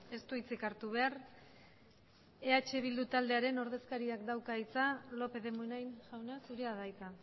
ez du hitzik hartu behar eh bildu taldearen ordezkariak dauka hitza lópez de munain jauna zurea da hitza